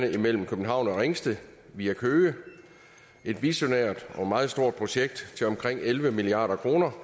imellem københavn og ringsted via køge det er et visionært og meget stort projekt til omkring elleve milliard kroner